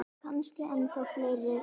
Kannski ennþá fleiri.